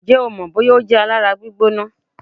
Ǹjẹ́ o mọ̀ bóyá ó jẹ́ alára gbígbóná?